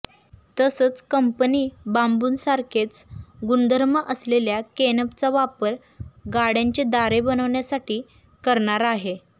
तसंच कंपनी बांबूसारखेच गुणधर्म असलेल्या केनफचा वापर गाड्यांचे दार बनवण्यासाठी करणार आहे